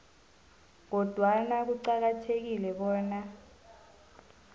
kodwana kuqakathekile bona